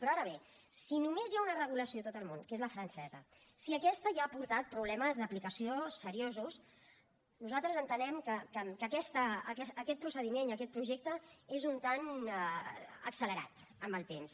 però ara bé si només hi ha una regulació a tot el món que és la francesa si aquesta ja ha portat problemes d’aplicació seriosos nosaltres entenem que aquest procediment i aquest projecte és una mica accelerat en el temps